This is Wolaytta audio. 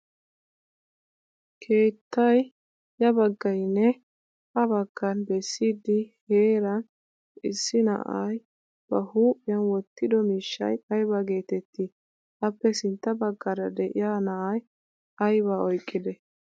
Keettay ya baggayinne ha baggan bessidi heeran issi na'ay baa huuphiyan wottido miishshay ayba geettettii? Appe sintta baggaara de'iya na'ay aybaa oyqqidee?